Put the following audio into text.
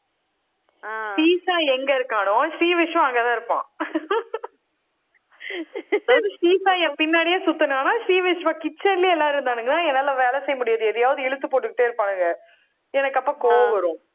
ஸ்ரீ சாயி எங்க இருக்கானோ, ஸ்ரீவிஷ்வா அங்கதான் இருப்பான். ஸ்ரீ சாயி என் பின்னாடியே சுத்தினான்னா ஸ்ரீவிஷ்வா kitchen லையே எல்லாரும் இருந்தானுங்க. என்னால வேலை செய்ய முடியாது. எதையாவது இழுத்து போட்டுக்கிட்டே இருப்பானுங்க எனக்கு அப்ப கோவம் வரும்